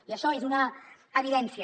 i això és una evidència